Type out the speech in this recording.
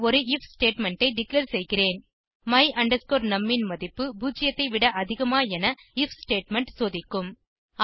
பின் ஒரு IF statement ஐ declare செய்கிறேன் my num ன் மதிப்பு 0 ஐ விட அதிகமா என ஐஎஃப் ஸ்டேட்மெண்ட் சோதிக்கும்